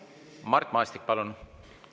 Mart Maastik, palun!